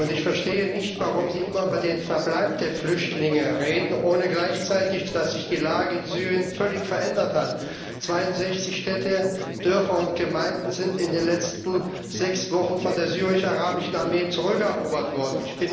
Ich verstehe nicht, warum Sie immer über den Verbleib der Flüchtlinge reden, ohne gleichzeitig zu berücksichtigen, dass sich die Lage in Syrien völlig verändert hat 62 Städte, Dörfer und Gemeinden sind in den letzten sechs Wochen von der syrischen arabischen Armee zurückerobert worden.